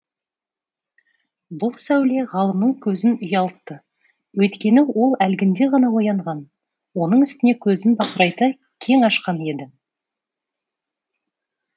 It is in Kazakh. бұл сәуле ғалымның көзін ұялтты өйткені ол әлгінде ғана оянған оның үстіне көзін бақырайта кең ашқан еді